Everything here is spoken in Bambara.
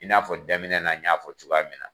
I n'a fɔ daminɛ na y'a fɔ cogoya min na.